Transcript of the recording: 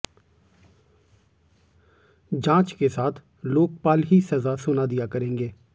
जांच के साथ लोकपाल ही सजा सुना दिया करेंगे